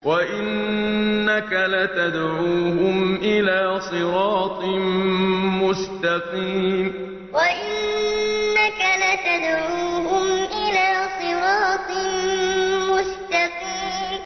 وَإِنَّكَ لَتَدْعُوهُمْ إِلَىٰ صِرَاطٍ مُّسْتَقِيمٍ وَإِنَّكَ لَتَدْعُوهُمْ إِلَىٰ صِرَاطٍ مُّسْتَقِيمٍ